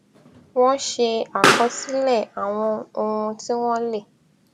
wón ṣe àkọsílè àwọn ohun tí wón lè